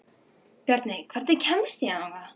Bjarney, hvernig kemst ég þangað?